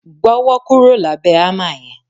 Gbọ́wọ́ kúrò lábẹ̀ hámà yẹn!